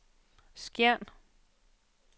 Skjern